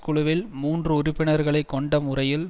குழுவில் மூன்று உறுப்பினர்களை கொண்ட முறையில்